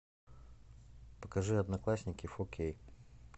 покажи одноклассники фор кей